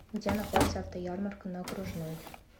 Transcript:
где находится автоярмарка на окружной